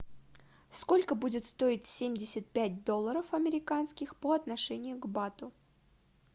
сколько будет стоить семьдесят пять долларов американских по отношению к бату